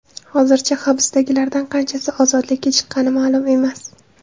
Hozircha hibsdagilardan qanchasi ozodlikka chiqqani ma’lum emas.